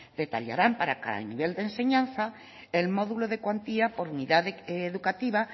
detallarán para cada nivel de enseñanza el módulo de cuantía por unidad educativa